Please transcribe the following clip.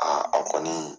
Aa a kɔni